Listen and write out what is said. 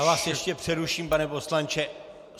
Já vás ještě přeruším, pane poslanče.